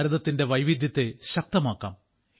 ഭാരതത്തിന്റെ വൈവിധ്യത്തെ ശക്തമാക്കാം